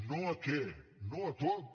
no a què no a tot